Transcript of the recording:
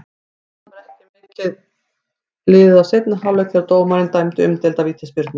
Það var ekki mikið liðið af seinni hálfleik þegar dómarinn dæmdi umdeilda vítaspyrnu.